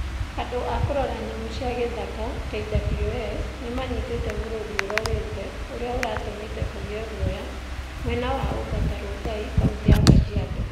Andũ a kũrora nyamũ cia gĩthaka (KWS) nĩ manyitĩte mũrũthi ũroorĩte ũrĩa uratũmĩte kũgĩe guoya mwena wa Ongata Rongai kaũntĩ ya Kajiado.